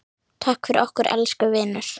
Takk fyrir okkur, elsku vinur.